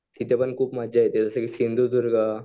तिथं पण खूप मजा येते जसं की सिंधुदुर्ग